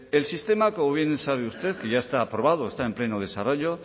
el sistema como bien sabe usted que ya está aprobado está en pleno desarrollo